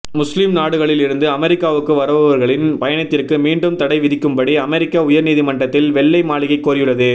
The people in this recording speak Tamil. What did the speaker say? முஸ்லிம் நாடுகளில் இருந்து அமெரிக்காவுக்கு வருபவர்களின் பயணத்திற்கு மீண்டும் தடை விதிக்கும்படி அமெரிக்க உயர் நீதிமன்றத்திடம் வெள்ளை மாளிகை கோரியுள்ளது